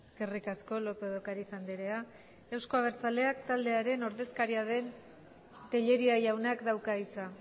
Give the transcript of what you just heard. eskerrik asko lópez de ocariz andrea euzko abertzaleak taldearen ordezkaria den tellería jaunak dauka hitza